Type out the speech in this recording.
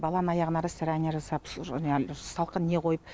баланың аяғына растирания жасап салқын не қойып